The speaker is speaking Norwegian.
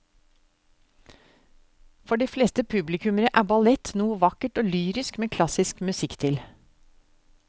For de fleste publikummere er ballett noe vakkert og lyrisk med klassisk musikk til.